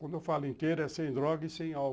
Quando eu falo inteiro, é sem droga e sem álcool.